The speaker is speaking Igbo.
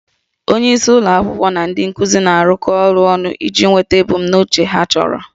Onyeisi ụlọ akwụkwọ na ndị nkuzi na-arụkọ ọrụ ọnụ iji nweta ebumnuche ha chọrọ